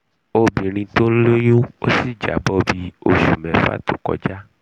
obirin to n loyun o si jabo bi osu mefa to koja